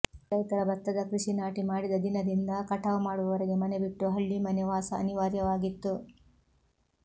ರೈತ ಭತ್ತದ ಕೃಷಿ ನಾಟಿ ಮಾಡಿದ ದಿನದಿಂದ ಕಠಾವು ಮಾಡುವವರೆಗೆ ಮನೆಬಿಟ್ಟು ಹಳ್ಳಿಮನೆ ವಾಸ ಅನಿವಾರ್ಯವಾಗಿತ್ತು